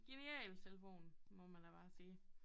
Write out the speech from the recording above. Genial telefon må man da bare sige